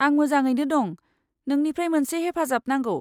आं मोजाङैनो दं। नोंनिफ्राय मोनसे हेफाजाब नांगौ।